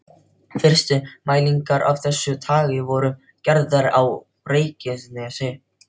Fyrstu mælingar af þessu tagi voru gerðar á Reykjanesi.